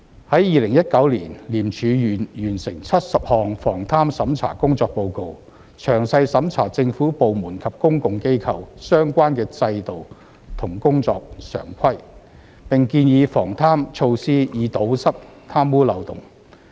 在2019年，廉署完成70項防貪審查工作報告，詳細審查政府部門及公共機構相關的制度和工作常規，並建議防貪措施以堵塞貪污漏洞。